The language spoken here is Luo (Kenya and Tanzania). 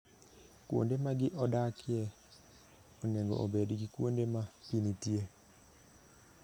Kuonde ma gi odakie onego obed gi kuonde ma pi nitiere.